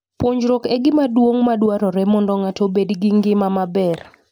Puonjruok e gima duong' madwarore mondo ng'ato obed gi ngima maber.